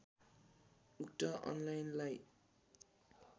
उक्त अनलाइनलाई